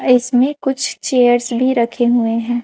इसमें कुछ चेयर्स भी रखे हुए हैं।